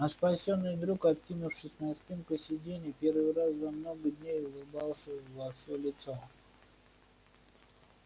а спасённый друг откинувшись на спинку сиденья первый раз за много дней улыбался во всё лицо